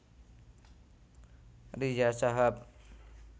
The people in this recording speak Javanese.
Riza Shahab